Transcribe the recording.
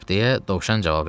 – deyə dovşan cavab verdi.